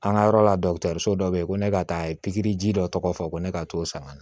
An ka yɔrɔ la dɔkitɔriso dɔ be yen ko ne ka taa ye pikiri ji dɔ tɔgɔ fɔ ko ne ka t'o san ka na